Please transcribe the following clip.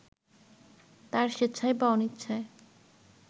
তাঁর স্বেচ্ছায় বা অনিচ্ছায়